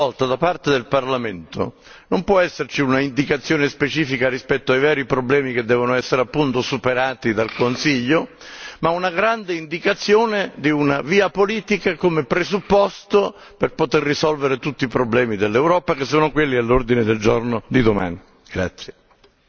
Allora, ancora una volta, da parte del Parlamento non può esserci un'indicazione specifica rispetto ai veri problemi che devono essere appunto superati dal Consiglio, ma una grande indicazione di una via politica, come presupposto per poter risolvere tutti i problemi dell'Europa, che sono quelli all'ordine del giorno di domani.